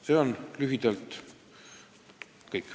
See on lühidalt kõik.